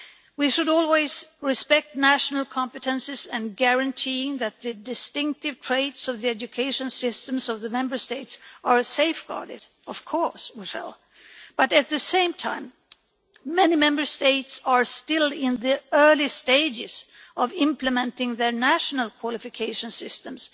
We should always respect national competences and guaranteeing that the distinctive traits of the education systems of the Member States are safeguarded but, at the same time, many Member States are still in the early stages of implementing their national qualification systems.